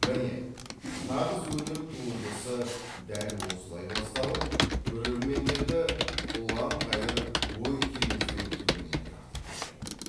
міне нағыз өнер туындысы дәл осылай басталып көрермендерді ұлан қайыр ой теңізінің түбіне тартып кетеді